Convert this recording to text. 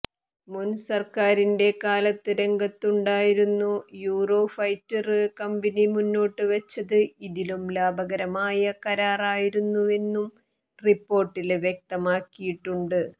മുന് സര്ക്കാറിന്റെ കാലത്ത് രംഗത്തുണ്ടായിരുന്നു യൂറോഫൈറ്റര് കമ്പനി മുന്നോട്ടു വച്ചത് ഇതിലും ലാഭകരമായ കരാറായിരുന്നുവെന്നും റിപ്പോര്ട്ടില് വ്യക്തമാക്കിയിട്ടുണ്ട്